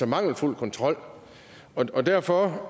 mangelfuld kontrol og derfor